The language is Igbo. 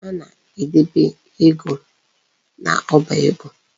A na-edebe ego n'ọba ego.